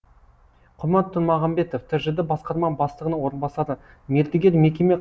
құмар тұрмағамбетов тжд басқарма бастығының орынбасары мердігер мекеме